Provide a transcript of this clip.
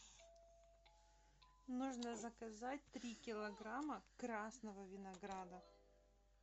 нужно заказать три килограмма красного винограда